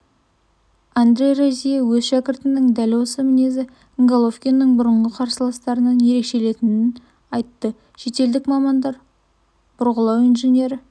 андре розье өз шәкіртінің дәл осы мінезі головкиннің бұрынғы қарсыластарынан ерекшеленетінін айтты шетелдік мамандар бұрғылау инженері